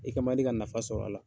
I kɛ man di ka nafa sɔrɔ a la.